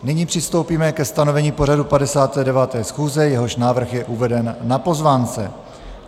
Nyní přistoupíme ke stanovení pořadu 59. schůze, jehož návrh je uveden na pozvánce.